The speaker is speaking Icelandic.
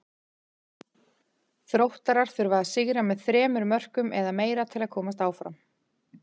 Þróttarar þurfa að sigra með þremur mörkum eða meira til að komast áfram.